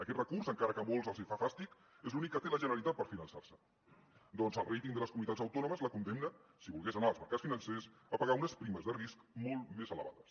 aquest recurs encara que a moltes els fa fàstic és l’únic que té la generalitat per finançar se ja que el ratingcomunitats autònomes la condemna si volgués anar als mercats financers a pagar unes primes de risc molt més elevades